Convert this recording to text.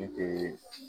N te